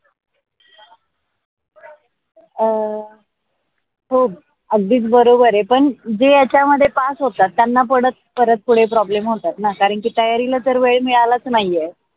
अं हो आधीच बरोबर आहे पण जे याच्या मध्ये पास होतात त्यांना परत त्यांना पुढ problem होतात नकाराची तयारीला जर वेळ मिळालाच नाही आहे.